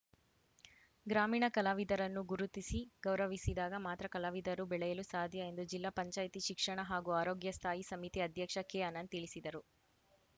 ಗ್ರಾಮೀಣ ಕಲಾವಿದರನ್ನು ಗುರುತಿಸಿ ಗೌರವಿಸಿದಾಗ ಮಾತ್ರ ಕಲಾವಿದರು ಬೆಳೆಯಲು ಸಾಧ್ಯ ಎಂದು ಜಿಲ್ಲಾ ಪಂಚಾಯಿತಿ ಶಿಕ್ಷಣ ಹಾಗೂ ಆರೋಗ್ಯ ಸ್ಥಾಯಿ ಸಮಿತಿ ಅಧ್ಯಕ್ಷ ಕೆಅನಂತ್‌ ತಿಳಿಸಿದರು